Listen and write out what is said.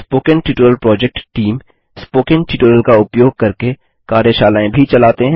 spoken tutorial project team spoken tutorial का उपयोग करके कार्यशालाएँ भी चलाते हैं